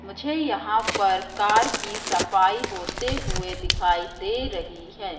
मुझे यहां पर कार की सफाई होते हुए दिखाई दे रही है।